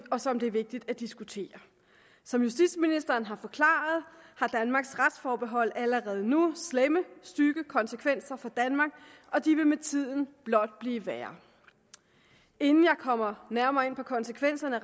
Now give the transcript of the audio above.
og som det er vigtigt at diskutere som justitsministeren har forklaret har danmarks retsforbehold allerede nu slemme stygge konsekvenser for danmark og de vil med tiden blot blive værre inden jeg kommer nærmere ind på konsekvenserne